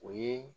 O ye